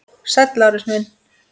Sæll, Lárus minn.